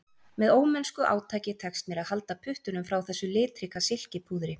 Með ómennsku átaki tekst mér að halda puttunum frá þessu litríka silkipúðri